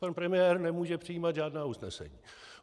Pan premiér nemůže přijímat žádná usnesení.